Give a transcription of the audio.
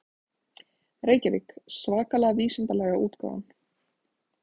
Reykjavík: Svakalega vísindalega útgáfan.